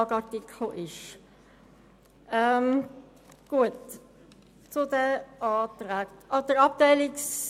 Zur Planungserklärung 7 werde ich für die FiKo-Mehrheit sprechen, weil es dort um einen FILAG-Artikel geht.